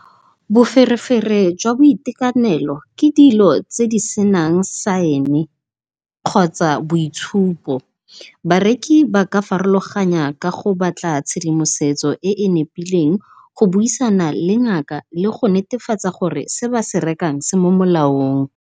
Boferefere jwa boitekanelo ke dilo tse di senang sign-e kgotsa boitshupo. Bareki ba ka farologanya ka go batla tshedimosetso e e nepileng go buisana le ngaka le go netefatsa gore se ba se rekang se mo molaong.